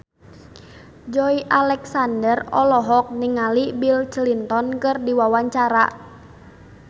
Joey Alexander olohok ningali Bill Clinton keur diwawancara